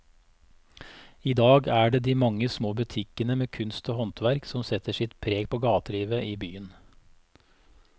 I dag er det de mange små butikkene med kunst og håndverk som setter sitt preg på gatelivet i byen.